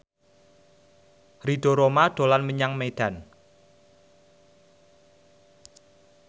Ridho Roma dolan menyang Medan